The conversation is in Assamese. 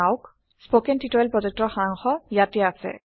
স্পকেন টিওটৰিয়েল প্ৰকল্পৰ সাৰাংশ ইয়াতে আছে